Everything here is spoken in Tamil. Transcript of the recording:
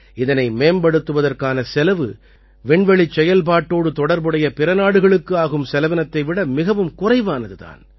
இதனை மேம்படுத்துவதற்கான செலவு விண்வெளிச் செயல்பாட்டோடு தொடர்புடைய பிற நாடுகளுக்கு ஆகும் செலவினத்தை விட மிகவும் குறைவானது தான்